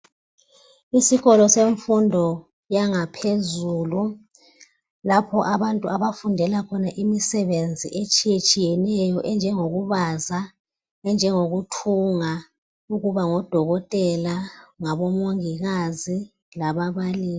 Isikolo semfundo yangaphezulu lapho abantu abafundela khona imisebenzi etshiye tshiyeneyo enjengoku baza enjengoku thunga ukuba ngodokotela labomongikazi lababalisi.